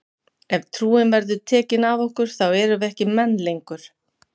Ef trúin verður tekin af okkur þá erum við ekki menn lengur!